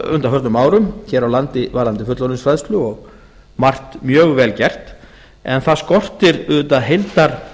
undaförnum árum hér á landi varðandi fullorðinsfræðsla og margt mjög vel gert en það skortir auðvitað